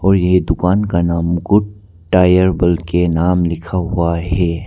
और ये दुकान का नाम को टायर बल के नाम लिखा हुआ है।